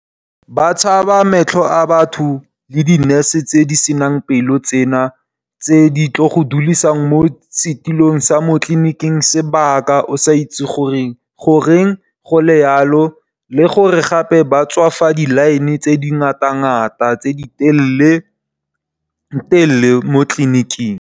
Ba tshaba matlho a batho le di nurse tse di senang pelo tse di tlo go dulisang mo setulong sa mo tlliniking sebaka o sa itse gore goreng go le yalo, le gore gape ba tswafa di line tse di ngata-ngata tse di telele mo tlliniking.